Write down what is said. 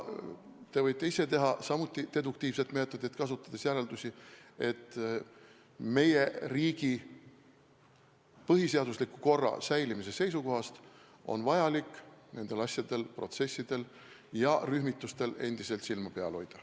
Te võite ise samuti teha deduktiivset meetodit kasutades järeldusi, et meie riigi põhiseadusliku korra säilimise seisukohast on endiselt vaja nendel protsessidel ja rühmitustel silma peal hoida.